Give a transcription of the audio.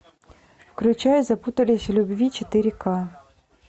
включай запутались в любви четыре ка